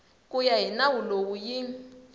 ya hi nawu lowu yi